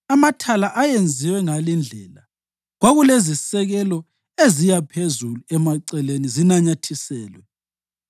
Amathala ayenziwe ngalindlela: Kwakulezisekelo eziya phezulu emaceleni zinanyathiselwe.